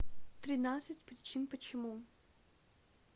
тринадцать причин почему